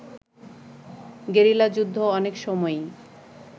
গেরিলাযুদ্ধ অনেক সময়ই